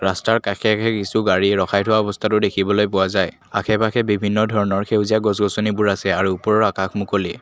ৰাস্তাৰ কাষে কাষে কিছু গাড়ী ৰখাই থোৱা অৱস্থাতো দেখিবলৈ পোৱা যায় আশে পাশে বিভিন্ন ধৰণৰ সেউজীয়া গছ গছনিবোৰ আছে আৰু ওপৰৰ আকাশ মুকলি।